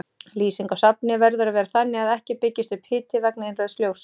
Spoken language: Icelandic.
Lýsing á safni verður að vera þannig að ekki byggist upp hiti vegna innrauðs ljóss.